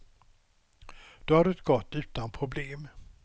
Då har det gått utan problem.